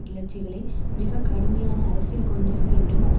கிளர்ச்சிகளை மிக கடுமையான அரசியல் கொந்தளிப்பு என்றும் அது